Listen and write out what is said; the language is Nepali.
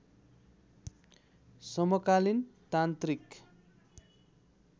समकालीन तान्त्रिक